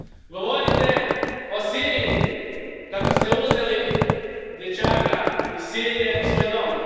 Govorite o Siriji, kako ste uzeli dječaka iz Sirije u svoj dom.